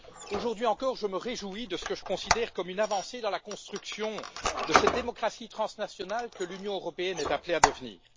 Aujourd'hui encore, je me réjouis de ce que je considère comme une avancée dans la construction de cette démocratie transnationale que l'Union européenne est appelée à devenir.